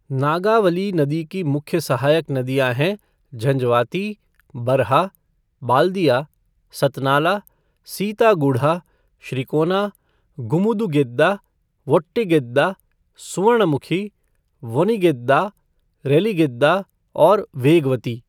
नागावली नदी की मुख्य सहायक नदियां हैं झंजवाती, बरहा, बाल्दिया, सतनाला, सीतागुढ़ा, श्रीकोना, गुमुदुगेद्दा, वोट्टिगेद्दा, सुवर्णमुखी, वोनिगेद्दा, रेलिगेद्दा और वेगवती।